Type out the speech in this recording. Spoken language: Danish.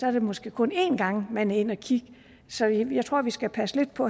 er det måske kun en gang man er inde at kigge så jeg tror vi skal passe lidt på